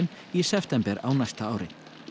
í september á næsta ári